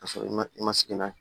K'a sɔrɔ i ma i ma sigi n'a ye